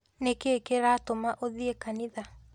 Nĩ kĩĩ kĩratũma ũthiĩ kanitha?